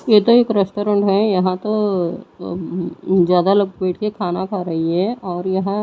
ये तो एक रेस्टोरेंट है यहां तो अम्म्म ज्यादा लोग बैठके खाना खा रही है और यहां--